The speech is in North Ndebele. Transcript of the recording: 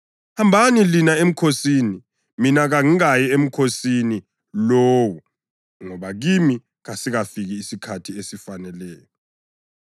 Hambani lina emkhosini. Mina kangikayi emkhosini lowo ngoba kimi kasikafiki isikhathi esifaneleyo.”